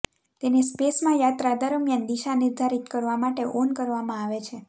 તેને સ્પેસમાં યાત્રા દરમિયાન દિશા નિર્ધારિત કરવા માટે ઓન કરવામાં આવે છે